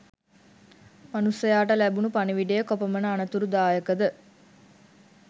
මනුස්සයාට ලැබුණු පණිවිඩය කොපමණ අනතුරුදායකද?